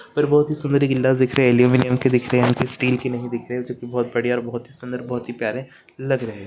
मुझे सुंदर गीलाव दिख रही है अल्युमिनियम का दिख रहा है स्टीलका नहीं दिख रहा जो की बहुत ही बढ़िया और बहुत ही सुंदर और बहुत ही प्यारी लग रहे हैं|